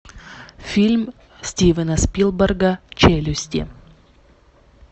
фильм стивена спилберга челюсти